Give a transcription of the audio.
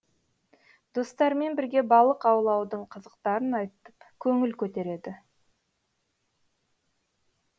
достарымен бірге балық аулаудың қызықтарын айтып көңіл көтереді